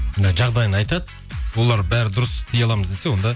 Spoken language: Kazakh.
жағдайын айтады олар бәрі дұрыс істей аламыз десе онда